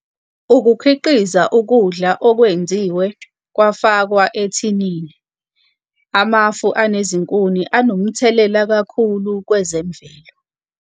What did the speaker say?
Ukukhiqiza ukudla okwenziwe kwafakwa ethinini, amafu anezinkuni anomthelela kakhulu kwezemvelo.